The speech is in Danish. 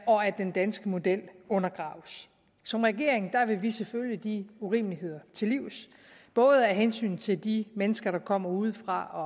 og at den danske model undergraves som regering vil vi selvfølgelig de urimeligheder til livs både af hensyn til de mennesker der kommer udefra og